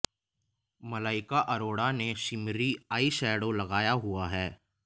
मलाइका अरोड़ा ने shimmery eye shadow लगाया हुआ है